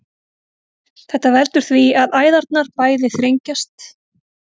þetta veldur því að æðarnar bæði þrengjast